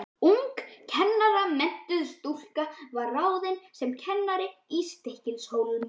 Ung kennaramenntuð stúlka var ráðin sem kennari í Stykkishólm.